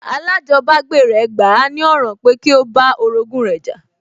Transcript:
Alájọbágbé rẹ̀ gbà á ní ọ̀ràn pẹ́ kí ó bá orogún rẹ̀ jà